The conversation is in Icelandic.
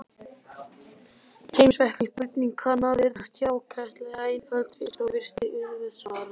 Heimspekileg spurning kann að virðast hjákátleg og einföld í fyrstu, og virst auðsvarað.